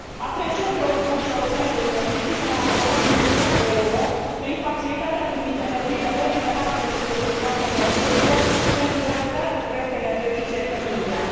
Apreciez rolul Băncii Europene de Investiții, care a alocat 1 miliard de euro prin facilitatea privind energiile regenerabile și securitatea energetică, pentru realizarea de proiecte energetice în India.